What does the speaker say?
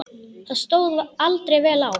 Það stóð aldrei vel á.